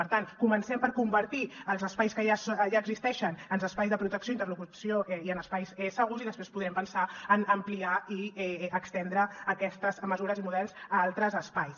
per tant comencem per convertir els espais que ja existeixen en espais de protecció i interlocució i en espais segurs i després podrem pensar en ampliar i estendre aquestes mesures i models a altres espais